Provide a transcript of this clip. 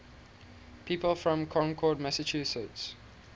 people from concord massachusetts